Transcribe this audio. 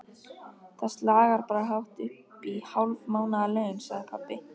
Það slagar bara hátt uppí hálf mánaðarlaun, sagði pabbi.